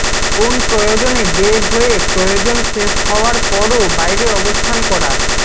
কোন প্রয়োজনে বের হয়ে প্রয়োজন শেষ হওয়ার পরও বাইরে অবস্থান করা